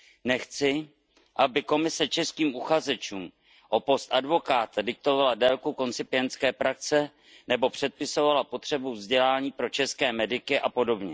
Nechci, aby Komise českým uchazečům o post advokáta diktovala délku koncipientské praxe nebo předpisovala potřebu vzdělání pro české mediky apod.